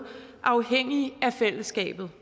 afhængige af fællesskabet